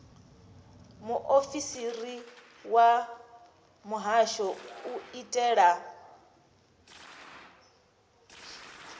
muofisiri wa muhasho u itela